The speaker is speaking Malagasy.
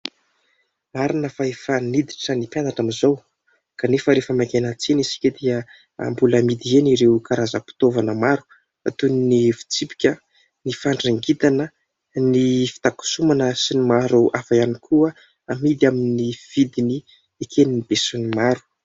Marina fa efa niditra ny mpianatra amin'izao. Kanefa rehefa mankeny an-tsena isika dia mbola amidy eny ireo karazam-pitaovana maro. Toy: ny fitsipika, ny fandrangitana, ny fitakosonana, sy ny maro hafa ihany koa. Amidy amin'ny vidiny eken'ny be sy ny maro.